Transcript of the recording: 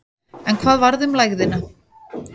En hvað varð um lægðina?